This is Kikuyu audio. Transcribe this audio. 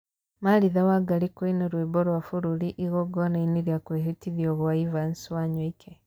Martha Wangari kũina rwĩmbo rwa bũrũri igongona-inĩ rĩa kwĩhĩtithio gwa Evans Wanyoike